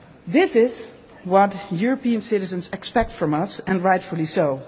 This is what European citizens expect from us, and rightly